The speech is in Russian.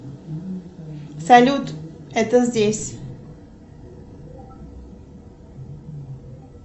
салют это здесь